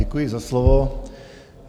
Děkuji za slovo.